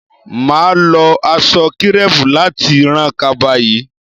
Mà á lo aṣọ kírẹ́pù láti ran kaba yìí